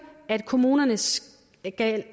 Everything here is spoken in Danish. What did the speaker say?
at kommunerne skal